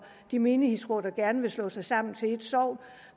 de menighedsråd der gerne vil slå sig sammen til ét sogn